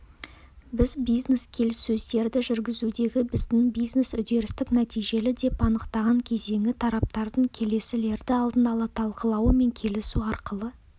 біз бизнес-келіссөздерді жүргізудегі біздің бизнес-үдерістік нәтижелі деп анықтаған кезеңі тараптардың келесілерді алдын ала талқылауы мен келісу арқылы